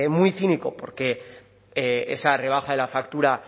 muy cínico porque esa rebaja de la factura